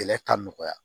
Kɛlɛ ka nɔgɔya